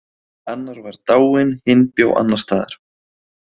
Annar var dáinn, hinn bjó annars staðar.